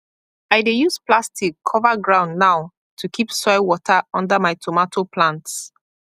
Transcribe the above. i dey use plastic cover ground now to keep soil water under my tomato plants